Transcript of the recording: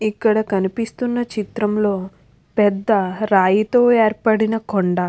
ఇక్కడ కనిపిస్తున్న చిత్రంలో పెద్ద రాయితో ఏర్పడిన కొండా.